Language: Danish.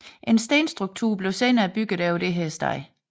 En stenstruktur blev senere bygget over dette sted